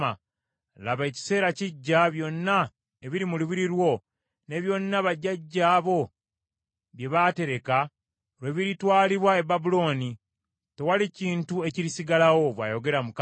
Laba, ekiseera kijja byonna ebiri mu lubiri lwo, ne byonna bajjajjaabo bye baatereka, lwe biritwalibwa e Babulooni. Tewaliba kintu ekirisigalawo,” bw’ayogera Mukama .